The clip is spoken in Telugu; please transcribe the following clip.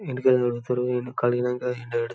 ఇంటికి అల్లి కడుగుతారు కడిగినాక ఎండబెడతారు